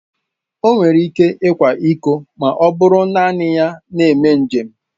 O nwere ike ịkwa ịko ma ọ bụrụ naanị ya na-eme njem.